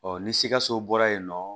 Ɔ ni sikaso bɔra yen nɔ